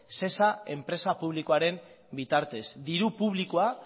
sesa enpresa publikoaren bitartez diru publikoa